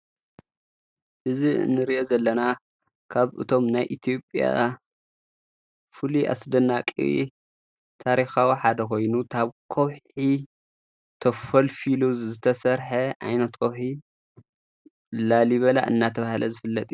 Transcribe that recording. እዝ እንርእየ ዘለና ካብ እቶም ናይ ኢቲዎጵያ ፉል ኣስደናቕ ታሪኻዊ ሓደ ኾይኑ ታብ ኰውሒ ተፈል ፊሉ ዝተሠርሐ ኣይኔጦኺ ላሊበላ እናተብሃለ ዝፍለጢ እዩ ::